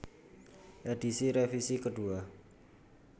Edisi Revisi Kedua